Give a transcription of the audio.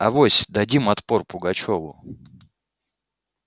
авось дадим отпор пугачёву